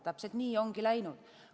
Täpselt nii ongi läinud.